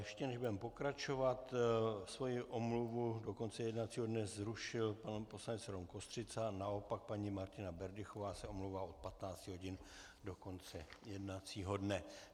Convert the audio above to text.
Ještě než budeme pokračovat, svou omluvu do konce jednacího dne zrušil pan poslanec Rom Kostřica, naopak paní Martina Berdychová se omlouvá od 15 hodin do konce jednacího dne.